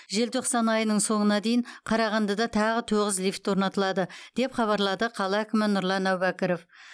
желтоқсан айының соңына дейін қарағандыда тағы тоғыз лифт орнатылады деп хабарлады қала әкімі нұрлан әубәкіров